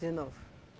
De novo.